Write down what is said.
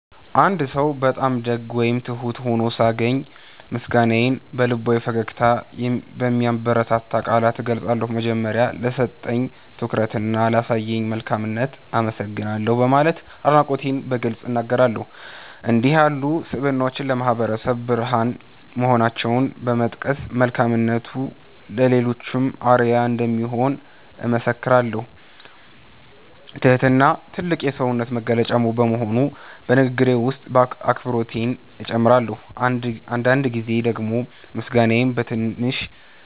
አንድ ሰው በጣም ደግ ወይም ትሁት ሆኖ ሳገኝ፣ ምስጋናዬን በልባዊ ፈገግታና በሚያበረታቱ ቃላት እገልጻለሁ። በመጀመሪያ፣ "ለሰጠኝ ትኩረትና ላሳየኝ መልካምነት አመሰግናለሁ" በማለት አድናቆቴን በግልጽ እናገራለሁ። እንዲህ ያሉ ስብዕናዎች ለማህበረሰቡ ብርሃን መሆናቸውን በመጥቀስ፣ መልካምነቱ ለሌሎችም አርአያ እንደሚሆን እመሰክራለሁ። ትህትና ትልቅ የሰውነት መገለጫ በመሆኑ፣ በንግግሬ ውስጥ አክብሮቴን እጨምራለሁ። አንዳንድ ጊዜ ደግሞ ምስጋናዬን በትንሽ